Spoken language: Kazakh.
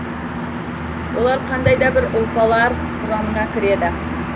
олар қандай да бір ұлпалар құрамына кіреді